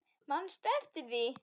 Manstu eftir því?